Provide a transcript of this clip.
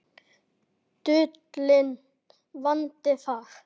Dulinn vandi þar.